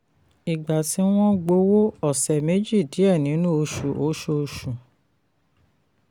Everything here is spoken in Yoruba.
ìgbà tí wọ́n gbowó: ọ̀sẹ̀ méjì díẹ̀ nínú oṣù oṣooṣù.